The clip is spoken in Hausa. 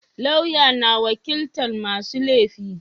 Lauya na wakilta masu laifi